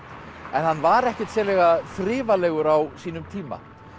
en hann var ekkert sérlega á sínum tíma